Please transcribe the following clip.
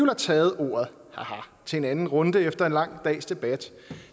har taget ordet til en anden runde her efter en lang dags debat